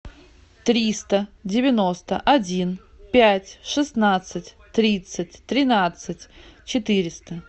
триста девяносто один пять шестнадцать тридцать тринадцать четыреста